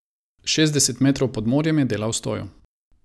Šestdeset metrov pod morjem je delal stojo.